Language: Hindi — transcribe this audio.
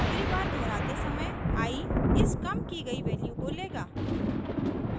अगली बार दोहराते समय i इस कम की गयी वैल्यू को लेगा